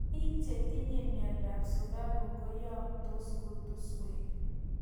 Biik chetinye miondo ab sukaruuk koyamtos kutusweek